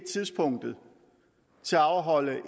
tidspunktet at afholde